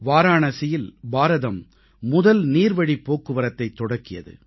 வாராணசியில் பாரதம் முதல் நீர்வழிப் போக்குவரத்தைத் தொடக்கியது